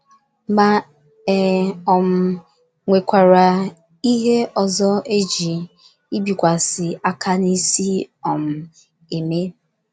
Ma e um nwekwara ihe ọzọ e ji ibikwasị aka n’isi um eme.